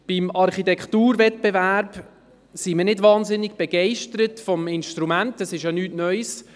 Vom Architekturwettbewerb sind wir nicht wahnsinnig begeistert, das ist ja nicht neu.